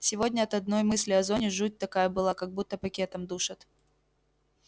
сегодня от одной мысли о зоне жуть такая была как будто пакетом душат